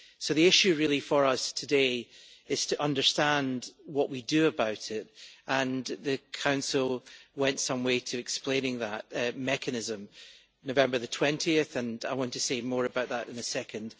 The issue really for us today is to understand what we do about it, and the Council went some way to explaining that mechanism 20 November, and I want to say more about that in a second.